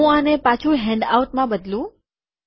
હું આને પાછું હેન્ડઆઉટમાં બદલું